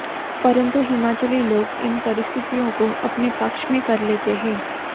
परंतु हिमाचली लोग इन परिस्थितियों को अपने पक्ष में कर लेते हैं